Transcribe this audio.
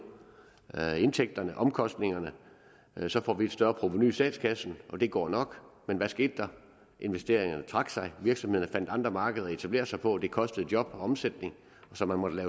indtægterne omkostningerne og så får vi et større provenu i statskassen og at det går nok men hvad skete der investeringerne trak sig virksomhederne fandt andre markeder at etablere sig på og det kostede job og omsætning så man måtte